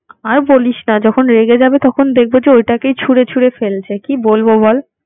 আর বলিস না যখন রেগে যাবে তখন দেখবো যে, ওটাকেই ছুরে ছুরে ফেলছে। কি বলব বল।